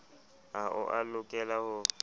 ha o a lokela ho